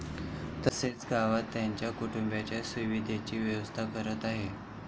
तसंच गावात त्यांच्या कुटुंबियांच्या सुविधेची व्यवस्थाही करत आहे.